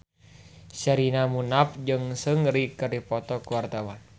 Sherina Munaf jeung Seungri keur dipoto ku wartawan